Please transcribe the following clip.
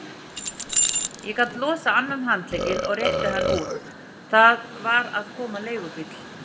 Ég gat losað annan handlegginn og rétti hann út, það var að koma leigubíll.